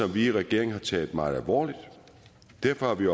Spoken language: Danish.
vi i regeringen har taget meget alvorligt derfor har vi